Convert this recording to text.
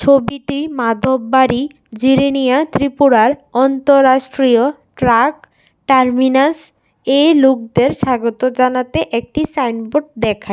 ছবিটি মাধববাড়ি জিরিনিয়া ত্রিপুরার অন্তরাষ্ট্রীয় ট্রাক টার্মিনাসে লুকদের স্বাগত জানাতে একটি সাইনবোর্ড দেখাই।